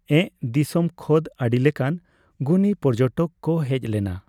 ᱮᱸᱜ ᱫᱤᱥᱚᱢ ᱠᱷᱚᱫ ᱟᱰᱤᱞᱮᱠᱟᱱ ᱜᱩᱱᱤ ᱯᱚᱨᱡᱚᱴᱚᱠ ᱠᱚ ᱦᱮᱡ ᱞᱮᱱᱟ᱾